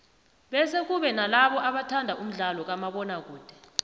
bese kube nalabo abathanda umdlalo kamabona kude